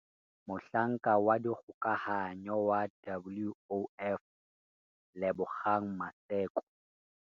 Mohlanka wa dikgokahanyo wa WOF Lebogang Maseko